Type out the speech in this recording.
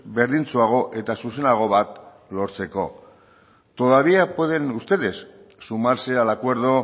berdintsuago eta zuzenago bat lortzeko todavía pueden ustedes sumarse al acuerdo